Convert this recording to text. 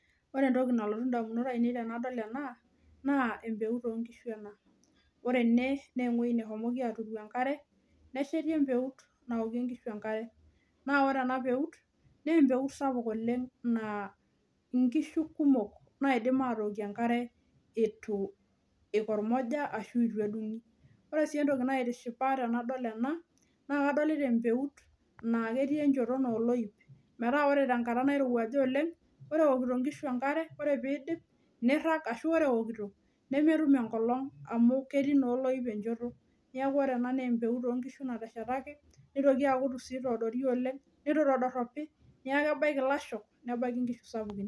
Ore entoki nalotu ndamunot ainei tenadol ena naa embeutu oonkishu ena. Ore ene naa ewueji neshomoki aaturu enkare nesheti embeut naokie nkishu enkare. Naa ore ena peut naa empeut sapuk oleng naa inkishu kumok naidim aatookie enkare eitu eikormoja ashuu eitu edungi. Ore sii entoki naitishipa tenadol ena naakadolita empeut naa ketii encholto naa oloip. Meaa ore enkata nairowuaj oleng ore ewokito inkishu enkare ore peyie eidup neirang ashu ore ewokito nemetum enkolong amuu ketii naa olip enchoto. Niaku empeut naa onkishu ena anteshetaki neitoki aaku etiu sii eitoodoro oleng neitu sii etodoropi oleng niaku kebaiki ilasho nebaiki inkishu sapukun